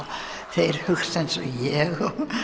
þeir hugsa eins ég